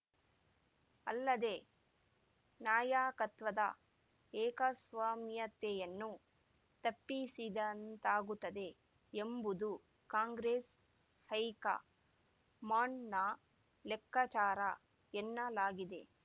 ಅಲ್ಲದೆ ನಾಯಕತ್ವದ ಏಕಸ್ವಾಮ್ಯತೆಯನ್ನು ತಪ್ಪಿಸಿದಂತಾಗುತ್ತದೆ ಎಂಬುದು ಕಾಂಗ್ರೆಸ್‌ ಹೈಕ ಮಾಂಡ್‌ನ ಲೆಕ್ಕಾಚಾರ ಎನ್ನಲಾಗಿದೆ